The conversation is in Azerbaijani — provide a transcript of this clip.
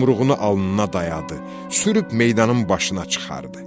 Yumruğunu alnına dayadı, sürüb meydanın başına çıxartdı.